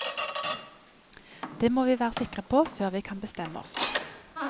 Det må vi være sikre på før vi kan bestemme oss.